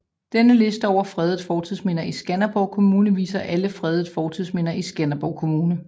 Denne liste over fredede fortidsminder i Skanderborg Kommune viser alle fredede fortidsminder i Skanderborg Kommune